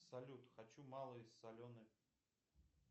салют хочу малый соленый